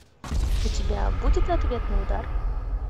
у тебя будет ответный удар